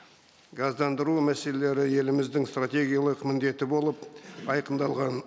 газдандыру мәселелері еліміздің стратегиялық міндеті болып айқындалған